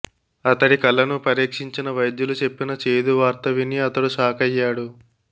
అతడి కళ్లను పరీక్షించిన వైద్యులు చెప్పిన చేదు వార్త విని అతడు షాకయ్యాడు